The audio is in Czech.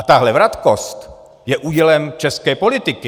A tahle vratkost je údělem české politiky.